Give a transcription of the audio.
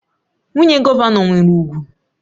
Nwunye gọvanọ nwere ugwu